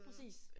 Præcis